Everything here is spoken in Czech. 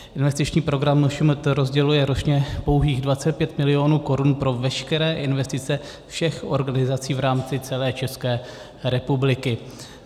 Investiční program MŠMT rozděluje ročně pouhých 25 milionů korun pro veškeré investice všech organizací v rámci celé České republiky.